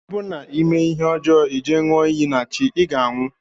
Ọ bụ na ime ihe ọjọ ije nyụọ iyi na chi iga anwụ.